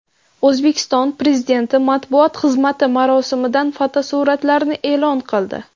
O‘zbekiston Prezidenti matbuot xizmati marosimdan fotosuratlarni e’lon qildi .